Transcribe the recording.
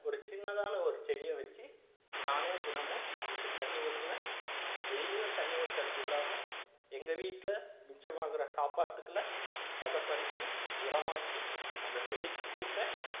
ஒரு சின்னதான ஒரு செடியை வச்சு நானே தினமும் அதுக்கு தண்ணி ஊத்துவேன் daily உம் தண்ணி ஊத்துறது இல்லாம எங்க வீட்டுல மிச்சமாகிற சாப்பாட்டுகல பதப்படுத்தி உரமாக்கி அந்த செடிக்கு குடுப்பேன்